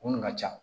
Mun ka ca